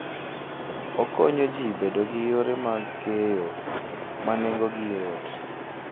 Okonyo ji bedo gi yore mag keyo ma nengogi yot.